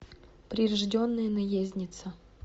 прирожденная наездница